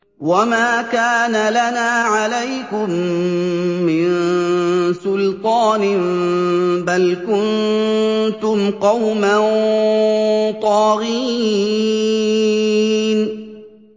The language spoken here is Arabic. وَمَا كَانَ لَنَا عَلَيْكُم مِّن سُلْطَانٍ ۖ بَلْ كُنتُمْ قَوْمًا طَاغِينَ